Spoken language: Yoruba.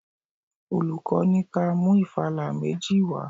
Olùkọ́ ní ka mú ìfala méjì wá.